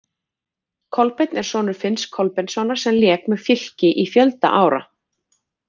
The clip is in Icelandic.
Kolbeinn er sonur Finns Kolbeinssonar sem lék með Fylki í fjölda ára.